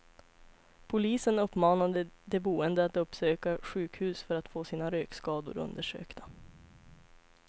Polisen uppmanade de boende att uppsöka sjukhus för att få sina rökskador undersökta.